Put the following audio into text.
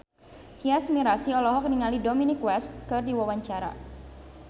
Tyas Mirasih olohok ningali Dominic West keur diwawancara